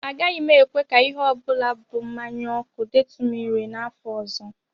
Agaghị m ekwe ka ihe ọ bụla bụ mmanya ọkụ detụ m ire n'afọ ọzọ